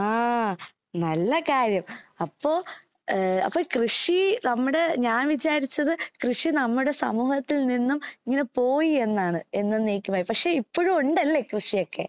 ആ നല്ല കാര്യം. അപ്പൊ കൃഷി നമ്മുടെ ഞാന്‍ വിചാരിച്ചത് കൃഷി നമ്മുടെ സമൂഹത്തില്‍ നിന്നും ഇങ്ങനെ പോയി എന്നാണ് എന്നെന്നേക്കുമായി. പക്ഷേ ഇപ്പോഴും ഉണ്ടല്ലേ കൃഷിയൊക്കെ.